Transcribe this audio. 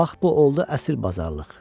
Bax bu oldu əsil bazarlıq.